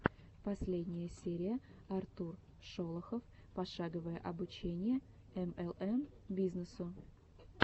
последняя серия артур шолохов пошаговое обучение млм бизнесу